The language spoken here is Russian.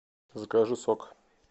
закажи сок